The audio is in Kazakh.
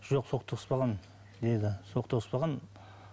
жоқ соқтығыспаған деді соқтығыспаған